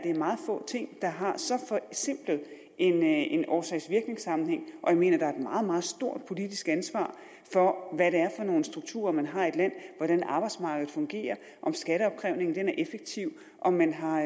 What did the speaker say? er meget få ting der har så simpel en årsag virknings sammenhæng jeg mener at der er et meget meget stort politisk ansvar for hvad det er for nogle strukturer man har i et land hvordan arbejdsmarkedet fungerer om skatteopkrævningen er effektiv om man har